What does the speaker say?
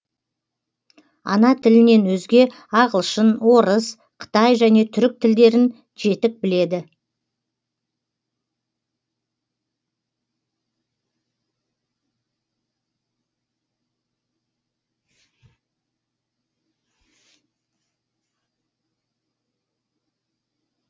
ана тілінен өзге ағылшын орыс қытай және түрік тілдерін жетік біледі